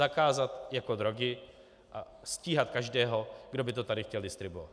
Zakázat jako drogy a stíhat každého, kdo by to tady chtěl distribuovat.